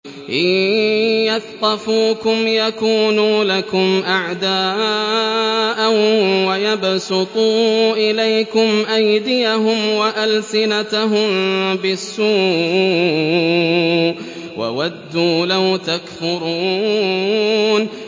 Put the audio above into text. إِن يَثْقَفُوكُمْ يَكُونُوا لَكُمْ أَعْدَاءً وَيَبْسُطُوا إِلَيْكُمْ أَيْدِيَهُمْ وَأَلْسِنَتَهُم بِالسُّوءِ وَوَدُّوا لَوْ تَكْفُرُونَ